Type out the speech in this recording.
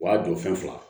O y'a don fɛn fila